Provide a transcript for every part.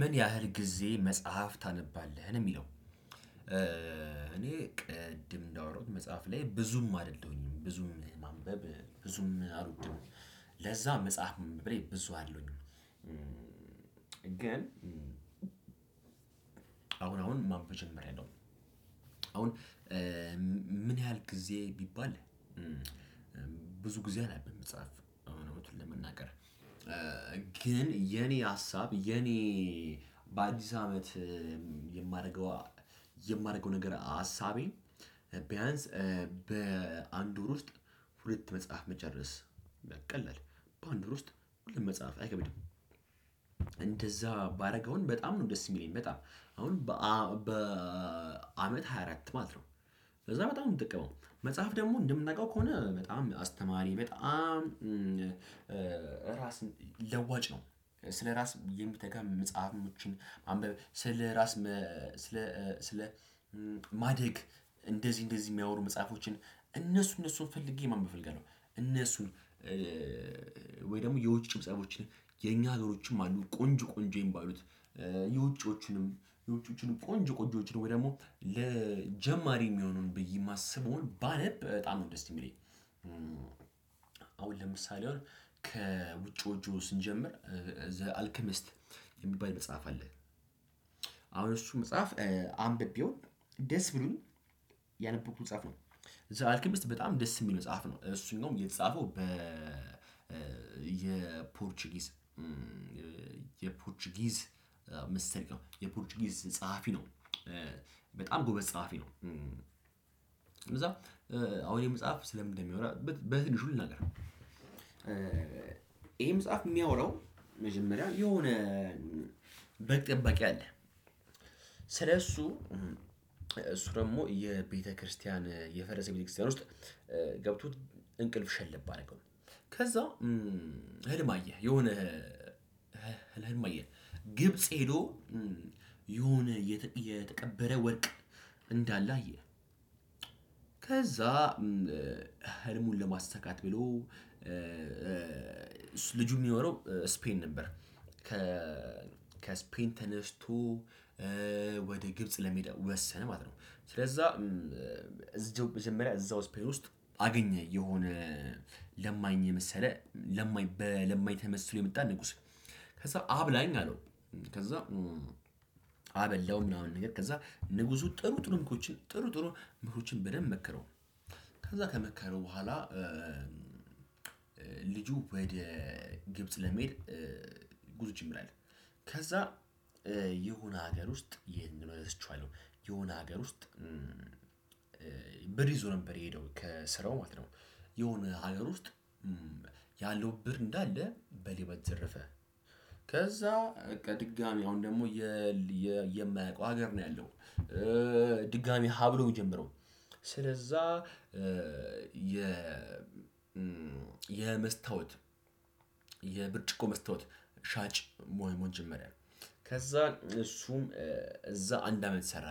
ምን ያህል ጊዜ መጽሐፍ ታነባለህ ነው ሚለው? እኔ ቅድም እንዳወራሁት መጽሐፍ ላይ ብዙም አይደለሁኝም ብዙም ማንበብ ብዙም አልወድም። ለዛ መጽሐፍ ላይ ብዙ አለው። ግን አሁን አሁን ማንበብ ጀምሪያለው። አሁን ምን ያህል ጊዜ ቢባል? ብዙ ጊዜ አላነብም መጽሐፍ አሁን ለመናገር። ግን የኔ ሀሳብ የኔ በአዲስ አመት የማደርገው የማደርገው ነገር ሀሳቤ። ቢያንስ በአንድ ወር ውስጥ ሁለት መጽሐፍ መጨረስ። ቀላል በአንድ ወር ውስጥ ሁለት መጽሐፍ አይከብድም። እንደዛ ባደርግ በጣም ነው ደስ የሚለኝ። በጣም አሁን በአመት ሃያ አራት ማለት ነው። ከዛ በጣም የምጠቀመው መጽሐፍ ደግሞ እንደምናውቀው ከሆነ በጣም አስተማሪ በጣም ራስ ለዋጭ ነው። ስለራስ የሚተጋ መጽሐፎችን ስለራስ ስለ ማደግ እንደዚህ እንደዚህ የሚያወሩ መጽሐፎችን እነሱ እነሱን ፈልጌ ማንበብ እፈልጋለው። እነሱን ወይ ደግሞ የውጭ መጽሀፎችን የኛ ሀገሮችንም አሉ ቆንጆ ቆንጆ የሚባሉት። የውጮቹንም የውጮቹንም ቆንጅ ቆንጆችን ወይ ደግሞ ለጀማሪ የሚሆኑን ብዬ የማስበውን ባነብ በጣም ነው ደስ የሚለኝ። አሁን ለምሳሌ ከውጪውዎቹ ስንጀምር ዘ አልክሚስት የሚባል መጽሐፍ አለ። አሁን እሱ መጽሐፍ አንብቤው ደስ ብሎኝ ያነበብኩት መጽሐፍ ነው። ዘአልክምስት በጣም ደስ የሚል መጽሐፍ ነው እሱን ነው የተጻፈው በ የፖርቹጊስ የፖርቹጊዝ ምስጢር የፖርቹጊዝ ጸሐፊ ነው። በጣም ጎበዝ ጸሐፊ ነው። እንደዛ አሁን ይህ መጽሐፍ ስለምን እንደሚያወራ በትንሹ ልናገር። ነገር ይሄ መጽሐፍ የሚያወራው መጀመሪያ የሆነ በግ ጠበቂ አለ። ስለሱ እሱ ደግሞ የቤተክርስቲያን የፈረሰ ቤተክርስቲያን ውስጥ ገብቶ እንቅልፍ ሸለብ አደረገው። ከዛ ህልም አየ የሆነ ህልም አየ ብጽ ሄዶ የሆነ የተቀበረ ወርቅ እንዳለ አየ። ከዛ ህልሙን ለማሳካት ብሎ። ልጁ የሚኖረው ስፔን ነበር። ከ ከስፔን ተነስቶ ወደ ግብጽ ለመሄድ ወሰነ ማለት ነው። ስለዛ እዛው መጀመሪያ እዛው ስፔን ውስጥ አገኘ የሆነ ለማኝ የመሰለ ለማኝ በለማኝ ተመስሎ የመጣ ንጉስ። ከዛ አብላኝ አለው። ከዛ አበላው ምናምን ነገር ከዛ ንጉሱ ጥሩ ጥሩ ምክሮችን ጥሩ ጥሩ ምክሮችን በደንብ መከረው። ከዛ ከመከረው በኋላ ልጁ ወደ ግብጽ ለመሄድ ጉዞ መጀመር ላይ ነው። ከዛ የሆነ ሀገር ውስጥ ይሄንን መልስ እረስቼዋለው የሆነ ሀገር ውስጥ ብር ይዞ ነበር የሄደው ከስራው ማለት ነው። የሆነ ሀገር ውስጥ ያለው ብር እንዳለ በሌባ ተዘረፈ። ከዛ በቃ ድጋሚ አሁን ደግሞ የማያውቀው ሀገር ነው ያለው። ድጋሚ ሀ ብሎ ሚጀምረው ስለዛ የ የመስታወት የብርጭቆ መስታወት ሻጭ ሞሆን ጀመረ። ከዛ እሱም እዛ አንድ አመት ሰራ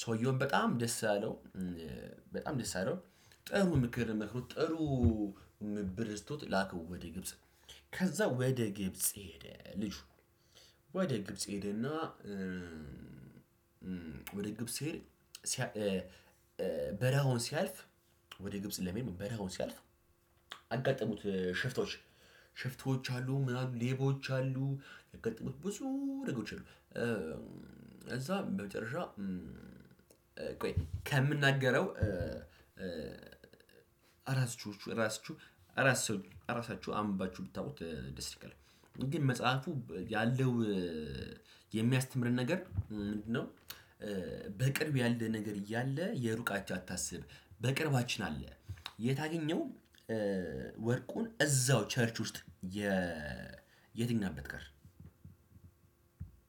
ሰውየውም በጣም ደስ አለው። በጣም ደስ ጥሩ ምክር መክሮት ጥሩ ብር ሰቶት ላከው ወደ ግብጽ ከዛ ወደ ግብጽ ሄደ ልጅ። ወደ ግብጽ ሄደና ወደ ግብጽ ሲሄድ በረሃውን ሲያልፍ ወደ ግብጽ ለመሄድ በረሃውን ሲያልፍ አጋጠሙት ሽፍቶች። ሽፍቶች አሉ ምናምን ሌቦች አሉ የገጠሙት ብዙ ነገሮች አሉ። እዛ በመጨረሻ ቆይ ከምናገረው። አራሳችሁ አራሳችሁ አምባችሁ ብታውቁት ደስ ይለኛል። ግን መጽሐፉ ያለው የሚያስተምረን ነገር ምንድነው? በቅርብ ያለ ነገር እያለ የሩቃችሁን አታስብ በቅርባችን አለ። የት አገኘው? ወርቁን እዛው ቸርች ውስጥ የ የተኛበት ጋር